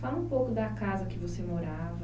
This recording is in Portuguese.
Fala um pouco da casa que você morava.